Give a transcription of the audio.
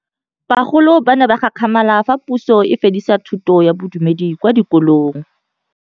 Bagolo ba ne ba gakgamala fa Pusô e fedisa thutô ya Bodumedi kwa dikolong.